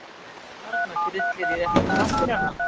Þarna grillir í réttu pappírana.